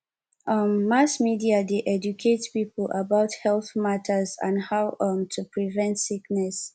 um mass media dey educate people about health matters like how um to prevent sickness